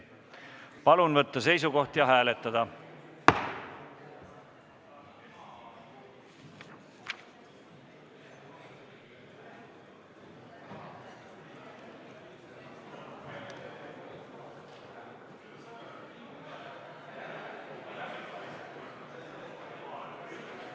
Palun võtta seisukoht ja hääletada!